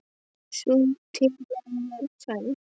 Sú tillaga var felld.